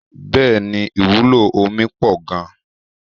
Bẹẹni ìwúlò omi pọ gan-an.